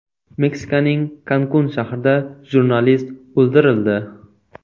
Meksikaning Kankun shahrida jurnalist o‘ldirildi.